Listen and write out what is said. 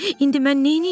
İndi mən neyləyim?